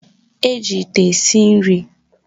Eji ite esi nri